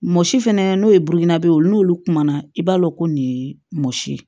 Mɔsi fɛnɛ n'o ye buguna b'o ye n'olu kumana i b'a dɔn ko nin ye mɔsi ye